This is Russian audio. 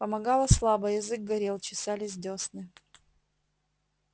помогало слабо язык горел чесались десны